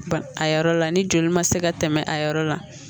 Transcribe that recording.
Ba a yɔrɔ la ni joli ma se ka tɛmɛ a yɔrɔ la